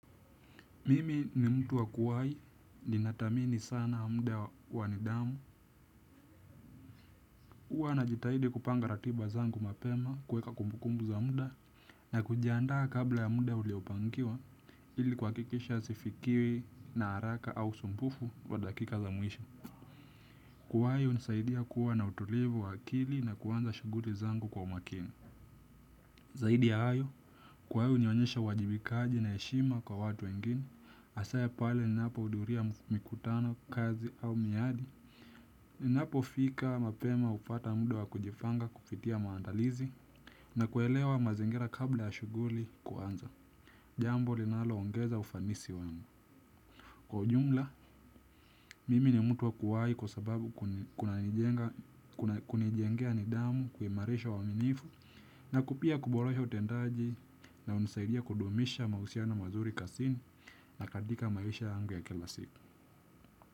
Mimi ni mtu wa kuwahi, ninathamini sana muda wa nidhamu, huwa najitahidi kupanga ratiba zangu mapema kuweka kumbukumbu za muda na kujiandaa kabla ya muda uliopangiwa ili kuhakikisha sifikiwi na haraka au usumbufu wa dakika za mwisho. Kuwahi hunisaidia kuwa na utulivu wa akili na kuanza shughuli zangu kwa umakini. Zaidi ya hayo, kwa hiyo nionyeshe uwajibikaji na heshima kwa watu wengine, hasa pale ninapohudhuria mkutano kazi au miadi. Ninapofika mapema hupata muda wa kujipanga kufikia maandalizi na kuelewa mazingira kabla ya shughuli kuanza. Jambo linaloongeza ufanisi wangu. Kwa ujumla, mimi ni mtu wa kuwahi kwa sababu kunanijengea nidhamu kuimarisha uaminifu na pia kuboresha utendaji na hunisaidia kudumisha mahusiano mazuri kazini na katika maisha yangu ya kila siku.